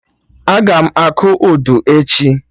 Agam akụ Udu echi